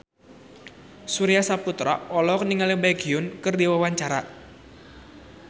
Surya Saputra olohok ningali Baekhyun keur diwawancara